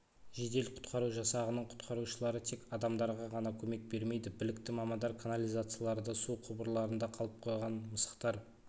жедел-құтқару жасағының құтқарушылары тек адамдарға ғана көмек бермейді білікті мамандар канализацияларда су құбырларында қалып қойған мысықтар